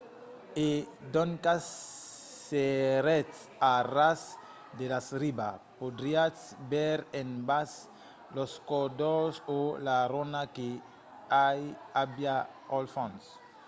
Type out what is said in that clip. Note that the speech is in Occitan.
e doncas s'èretz a ras de la riba podriatz veire en bas los còdols o la ronha que i aviá al fons